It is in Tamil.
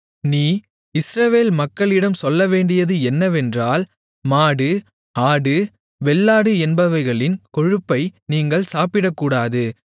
நீ இஸ்ரவேல் மக்களிடம் சொல்லவேண்டியது என்னவென்றால் மாடு ஆடு வெள்ளாடு என்பவைகளின் கொழுப்பை நீங்கள் சாப்பிடக்கூடாது